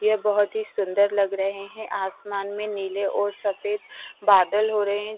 ये बहुत ही सुंदर लग रहे है आसमान में नीले और सफेद बादल हो रहे हैं।